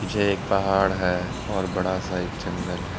जे एक पहाड़ है और बड़ा सा एक जंगल है।